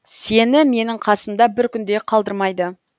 сені менің қасымда бір күн де қалдырмайды